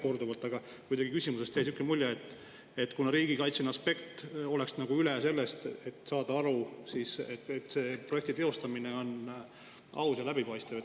Kuidagi jäi aga küsimusest selline mulje, et riigikaitseline aspekt oleks nagu üle sellest arusaamast, et projekti teostamine peab olema aus ja läbipaistev.